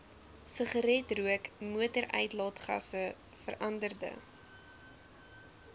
sigaretrook motoruitlaatgasse veranderde